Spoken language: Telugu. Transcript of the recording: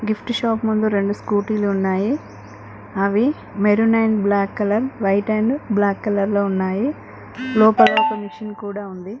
గిఫ్ట్ షాప్ ముందు రెండు స్కూటీ లు ఉన్నాయి. అవి maroon and black colour white and black colour లో ఉన్నాయి. లోపల ఒక మిషన్ కూడా ఉంది.